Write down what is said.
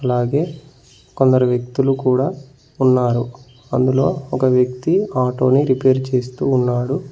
అలాగే కొందరు వ్యక్తులు కూడా ఉన్నారు అందులో ఒక వ్యక్తి ఆటో ని రిపేర్ చేస్తూ ఉన్నాడు.